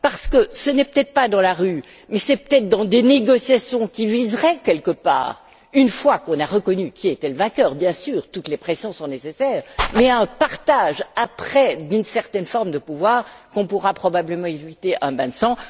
Car ce n'est peut être pas dans la rue, mais peut être par des négociations qui viseraient une fois qu'on a reconnu qui était le vainqueur, bien sûr, toutes les pressions sont nécessaires à un partage d'une certaine forme de pouvoir, qu'on pourra probablement éviter un bain de sang.